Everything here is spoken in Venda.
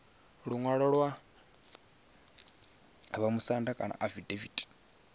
luṅwalo lwa vhamusanda kana afidaviti